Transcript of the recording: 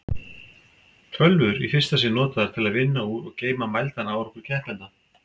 Tölvur í fyrsta sinn notaðar til að vinna úr og geyma mældan árangur keppenda.